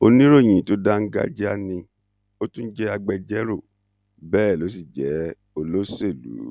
oníròyìn tó dáńgájíá ni ó tún jẹ agbẹjọrò bẹẹ ló sì jẹ olóṣèlú